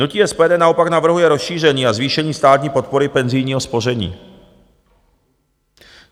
Hnutí SPD naopak navrhuje rozšíření a zvýšení státní podpory penzijního spoření.